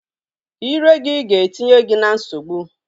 Ire gị ga-etinye gị na nsogbu.